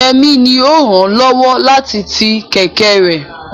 Yemi ni ó ràn án lọ́wọ́ láti ti kẹ̀kẹ́ rẹ̀.